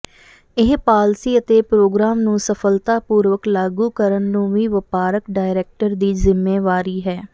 ਇਹ ਪਾਲਸੀ ਅਤੇ ਪ੍ਰੋਗਰਾਮ ਨੂੰ ਸਫਲਤਾਪੂਰਵਕ ਲਾਗੂ ਕਰਨ ਨੂੰ ਵੀ ਵਪਾਰਕ ਡਾਇਰੈਕਟਰ ਦੀ ਜ਼ਿੰਮੇਵਾਰੀ ਹੈ